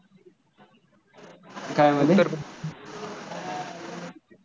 काय म्हणाले उत्तर